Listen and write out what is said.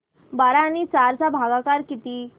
बारा आणि चार चा भागाकर किती